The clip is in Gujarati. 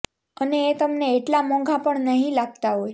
અને એ તમને એટલા મોંઘા પણ નહિ લાગતા હોય